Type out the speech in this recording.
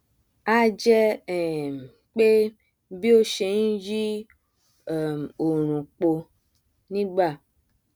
a jẹ um pé bí ó ṣe nyí um òòrùn po nígbà